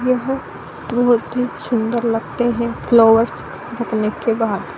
यह बहुत ही सुन्दर लगते है फ्लावर्स रखने के बाद।